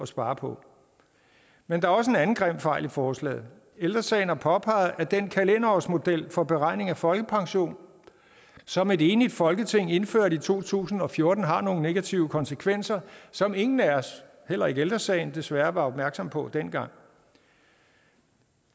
spare på men der er også en anden grim fejl i forslaget ældre sagen har påpeget at den kalenderårsmodel for beregning af folkepension som et enigt folketing indførte i to tusind og fjorten har nogle negative konsekvenser som ingen af os heller ikke ældre sagen desværre var opmærksom på dengang